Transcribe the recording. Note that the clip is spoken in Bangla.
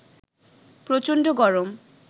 প্রচন্ড গরম